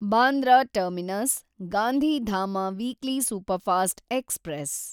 Bandra terminus Gandhidham weekly superfast express